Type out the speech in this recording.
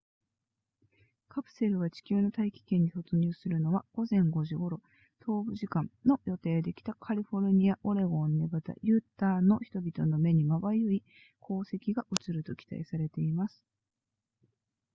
カプセルが地球の大気圏に突入するのは午前5時頃東部時間の予定で北カリフォルニアオレゴンネバダユタの人々の目にまばゆい光跡が映ると期待されています